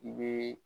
I be